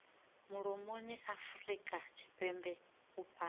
mulomoni afurika tshipembe u fhasi